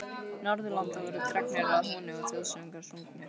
Norðurlanda voru dregnir að húni og þjóðsöngvar sungnir.